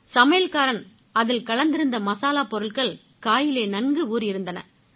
சமையல்காரன் அதில் கலந்திருந்த மசாலாப் பொருட்கள் காயிலே நன்கு ஊறியிருந்தன